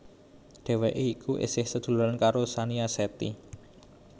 Dheweké iku esih sadhuluran karo Shanita Shetty